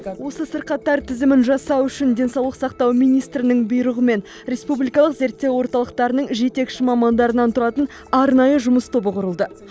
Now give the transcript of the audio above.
осы сырқаттар тізімін жасау үшін денсаулық сақтау министрінің бұйрығымен республикалық зерттеу орталықтарының жетекші мамандарынан тұратын арнайы жұмыс тобы құрылды